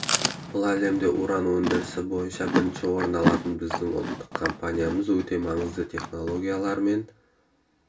бұл әлемде уран өндірісі бойынша бірінші орын алатын біздің ұлттық компаниямыз өте маңызды технологиялар мен